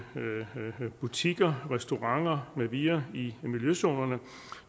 butikker restauranter med videre i miljøzonerne